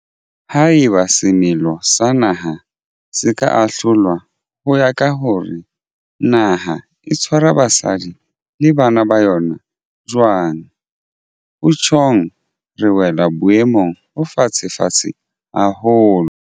Haeba semelo sa naha se ka ahlolwa ho ya ka hore na naha e tshwara basadi le bana ba yona jwang, ho tjhong re wela boemong bo fatshefatshe haholo.